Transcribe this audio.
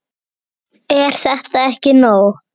Er þetta ekki nóg?